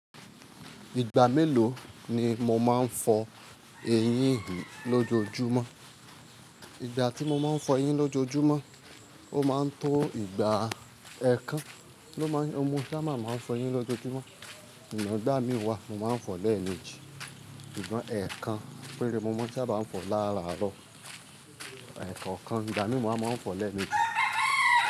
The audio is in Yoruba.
Ìgbà mélòó ni mo máa ń fọ eyín mi lójoojúmọ́? Ìgbà tí mo máa ń fọ eyín lójoojúmọ́, ó máa ń tó ìgbà ẹẹkan ló máa ń, o mo sá ba máa ń fọ eyín lójoojúmọ́. Ṣùgbọ́n gbá mi wá, mo máa ń fọ lẹ́ẹ̀mejì. Ṣùgbọ́n ẹẹkan péré mo mọ́ n ṣa bá ń fọ láàárọ̀, ẹẹkàn kan ìgbà mi máa mọ fọ lẹ́ẹ̀mejì.